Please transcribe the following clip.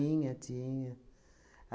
Tinha, tinha.